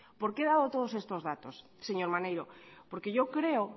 por qué he dado todos estos datos señor maneiro porque yo creo